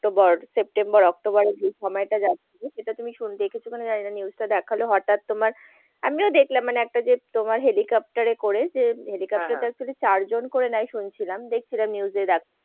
October September October যে সময়টা যাচ্ছিল সেটা তুমি দেখেছো কিনা জানি না news টা হঠাৎ তোমার আমিও দেখলাম মানে একটা যে তোমার helicopter এ করে যে helicopter টা আসলে চারজন করে নেয় শুনছিলাম দেখছিলাম news এ।